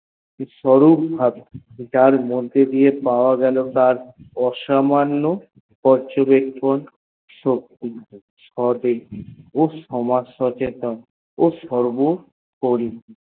সরূপ ভাবে যার মধ্যে দিয়ে পাওয়া গেল তার অসামান্য পর্যবেকহহন সদেশী সমাজ সচেতন ও সর্বোপরি